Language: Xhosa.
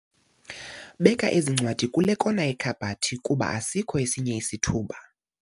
Beka ezi ncwadi kule kona yekhabhathi kuba asikho esinye isithuba.